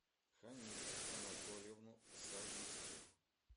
ханифу анатольевну савицкую